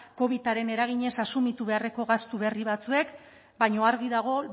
covidaren eraginez asumitu beharreko gastu berri batzuek baina argi dago